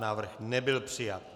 Návrh nebyl přijat.